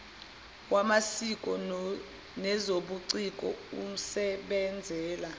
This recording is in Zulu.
wamasiko nezobuciko usebenzela